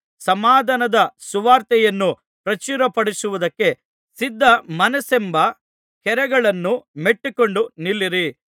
ಸಮಾಧಾನದ ಸುವಾರ್ತೆಯನ್ನು ಪ್ರಚುರಪಡಿಸುವುದಕ್ಕೆ ಸಿದ್ಧ ಮನಸ್ಸೆಂಬ ಕೆರಗಳನ್ನು ಮೆಟ್ಟಿಕೊಂಡು ನಿಲ್ಲಿರಿ